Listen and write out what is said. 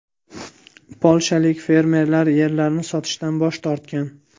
Polshalik fermerlar yerlarini sotishdan bosh tortgan.